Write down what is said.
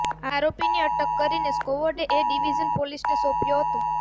આરોપીની અટક કરીને સ્કવોડે એ ડીવીઝન પોલીસને સોંપ્યો હતો